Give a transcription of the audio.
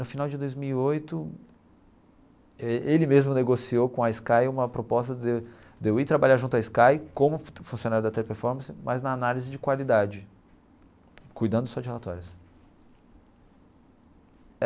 No final de dois mil e oito, ele ele mesmo negociou com a Sky uma proposta de de eu ir trabalhar junto a Sky como funcionário da Teleperformance, mas na análise de qualidade, cuidando só de relatórios.